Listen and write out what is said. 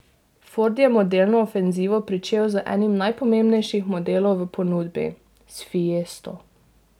Ford je modelno ofenzivo pričel z enim najpomembnejših modelov v ponudbi, s fiesto.